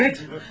Evet.